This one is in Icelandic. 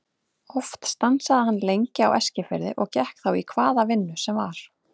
Oft stansaði hann lengi á Eskifirði og gekk þá í hvaða vinnu sem var.